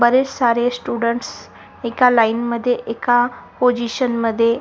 बरेच सारे स्टुडंट्स एका लाइन मध्ये एका पोजिशन मध्ये--